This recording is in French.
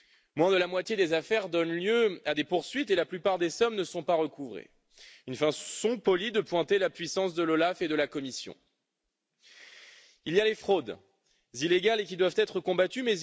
Moins de la moitié des affaires donnent lieu à des poursuites et la plupart des sommes ne sont pas recouvrées, une façon polie de pointer l'impuissance de l'OLAF et de la Commission. Il y a les fraudes illégales, qui doivent être combattues.